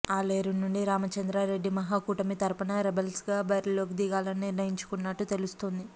ఆలేరు నుండి రామచంద్రారెడ్డి మహాకూటమి తరపున రెబల్స్గా బరిలోకి దిగాలని నిర్ణయించుకున్నట్టు తెలుస్తోంది